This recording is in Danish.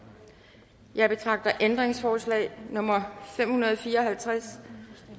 jeg betragter ændringsforslag nummer fem hundrede og fire og halvtreds